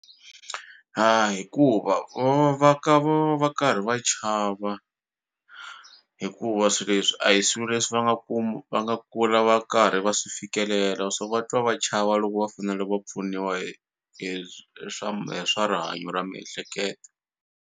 Hikuva va va va ka va va va karhi va chava hikuva swi leswi a hi swilo leswi va nga va nga kula va karhi va swi fikelela so va twa va chava loko va fanele va pfuniwa hi hi hi swa rihanyo ra miehleketo.